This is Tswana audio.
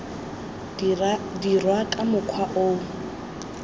dirwa ka mokgwa o o